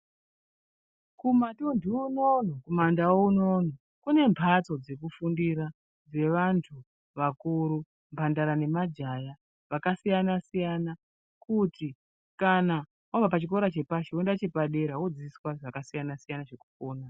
Kumatunthu unono kumaNdau unono, kune mhatso dzekufundira dzevanthu vakuru mhandara nemajaya vakasiyana-siyana kuti wabva pachikora chepashi woenda chepadera woodzidziswa zvakasiyana-siyana zvekupona.